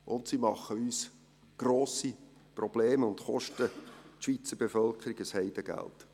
Und sie machen uns grosse Probleme und kosten die Schweizer Bevölkerung ein Heidengeld.